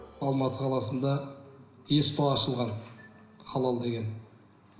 алматы қаласында сто ашылған халал деген